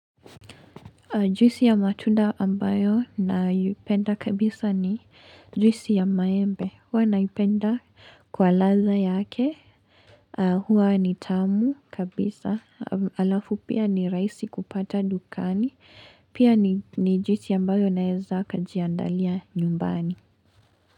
Juisi ya matunda ambayo naipenda kabisa ni juisi ya maembe. Huwa naipenda kwa ladhaa yake. Hua ni tamu kabisa. Alafu pia ni rahisi kupata dukani. Pia ni juisi ambayo naeza kajiandalia nyumbani.